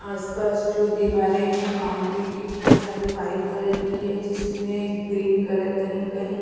आसपास जो दीवारें हैं बाउंड्री की वो सारी वाइट कलर की है जिसमें ग्रीन कलर कहीं-कहीं --